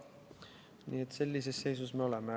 Nii et sellises seisus me oleme.